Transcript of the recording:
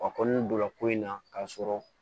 A kɔni donna ko in na k'a sɔrɔ